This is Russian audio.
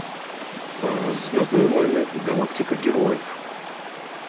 звездные войны галактика героев